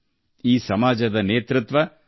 ಈ ಸಮಾಜವನ್ನು ನಮ್ಮ ಮಹಿಳಾ ಶಕ್ತಿಯೇ ಮುನ್ನಡೆಸುತ್ತಿದೆ